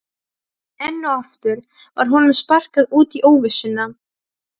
Enn og aftur var honum sparkað út í óvissuna.